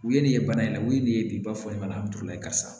U ye nin ye bana in u ye nin ye bi ba fɔ in ma karisa